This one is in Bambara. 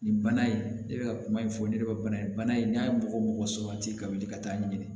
Nin bana in ne bɛ ka kuma in fɔ ne yɛrɛ ka bana in bana in n'a ye mɔgɔ mɔgɔ sabati ka wuli ka taa ɲinini